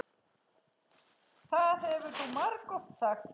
Það hefur þú margoft sagt.